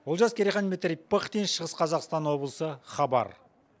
олжас керейхан дмитрий пыхтин шығыс қазақстан облысы хабар